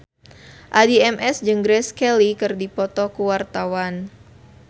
Addie MS jeung Grace Kelly keur dipoto ku wartawan